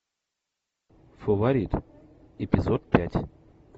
фаворит эпизод пять